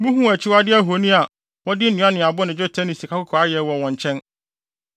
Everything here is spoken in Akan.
Muhuu akyiwade ahoni a wɔde nnua ne abo ne dwetɛ ne sikakɔkɔɔ ayɛ wɔ wɔn nkyɛn.